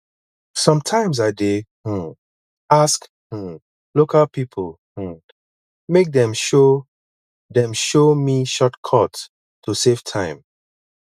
sometimes i dey um ask um local pipo um make dem show dem show me shortcuts to save time